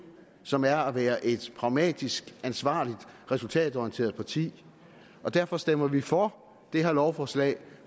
som er at være et pragmatisk ansvarligt og resultatorienteret parti derfor stemmer vi for det her lovforslag